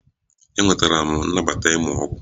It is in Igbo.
Enwetara m nnabata ịmụ ọgwụ